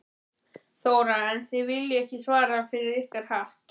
Þóra: En þið viljið ekki svara fyrir ykkar hatt?